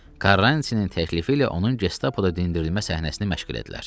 Karrantinin təklifi ilə onun gestapoda dindirilmə səhnəsini məşq elədilər.